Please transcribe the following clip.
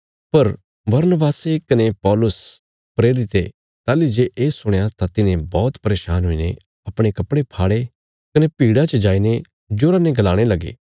पर बरनबासे कने पौलुस प्रेरिते ताहली जे ये सुणया तां तिन्हें बौहत परेशान हुईने अपणे कपड़े फाड़े कने भीड़ा च जाईने जोरा ने गलाणे लगे